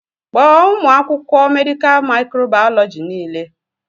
Kpọọ ụmụ akwụkwọ mèdịká mịkròbàyọlọjíi niile